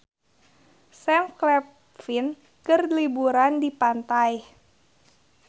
Sam Claflin keur liburan di pantai